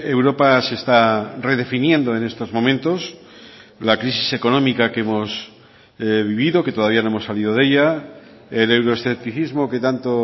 europa se está redefiniendo en estos momentos la crisis económica que hemos vivido que todavía no hemos salido de ella el euroescepticismo que tanto